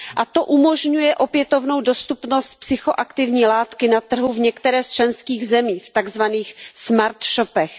To umožňuje opětovnou dostupnost psychoaktivní látky na trhu v některé z členských zemí, v takzvaných smartshopech